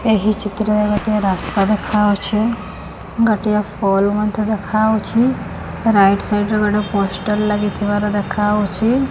ଏହି ଚିତ୍ର ରେ ଗୋଟିଏ ରାସ୍ତା ଦେଖାହୋଉଚି ଗୋଟିଏ ପୋଲ ମଧ୍ୟ ଦେଖାହଉଚି ରାଇଟ ସାଇଡ ରେ ଗୋଟିଏ ପୋଷ୍ଟର ଲାଗିଥିବାର ଦେଖାହୋଉଚି।